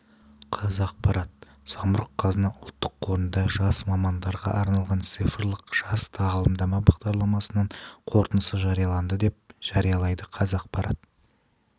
қазақпарат самұрық-қазына ұлттық қорында жас мамандарға арналған цифрлық жаз тағылымдама бағдарламасының қорытындысы жарияланды деп хабарлайды қазақпарат